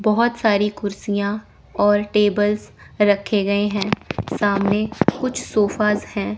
बहोत सारी कुर्सियां और टेबल्स रखे गए हैं सामने कुछ सोफाज हैं।